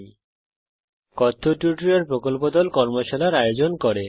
কথ্য টিউটোরিয়াল প্রকল্প দল কথ্য টিউটোরিয়াল ব্যবহার করে কর্মশালার আয়োজন করে